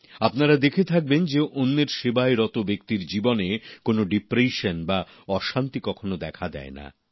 আপনারা দেখবেন যে অন্যের সেবায় রত ব্যক্তির জীবনে কোনো ডিপ্রেশন বা অশান্তি কখনও দেখা দেয় না